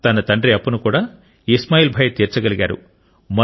తన తండ్రి అప్పును కూడా ఇస్మాయిల్ భాయ్ తీర్చగలిగారు